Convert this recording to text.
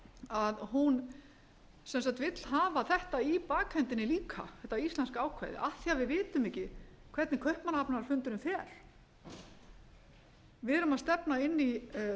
að hún ets að vill hafa þetta í bakhöndinni líka þetta íslenska ákvæði af því við vitum ekki hvernig kaupmannahafnarfundurinn fer við erum að stefna inn í